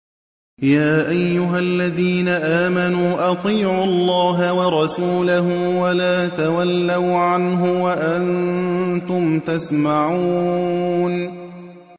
يَا أَيُّهَا الَّذِينَ آمَنُوا أَطِيعُوا اللَّهَ وَرَسُولَهُ وَلَا تَوَلَّوْا عَنْهُ وَأَنتُمْ تَسْمَعُونَ